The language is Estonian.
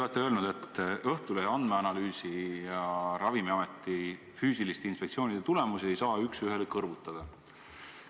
Te olete öelnud, et Õhtulehe andmeanalüüsi ja Ravimiameti füüsiliste inspektsioonide tulemusi ei saa üks ühele kõrvutada.